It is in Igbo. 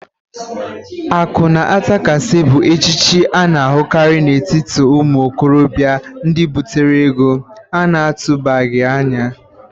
Akụ ná-atakasị bụ echichi a na-ahụkarị n'etiti ụmụ okorọbịa ndị butere ego a na-atụbaghi anya.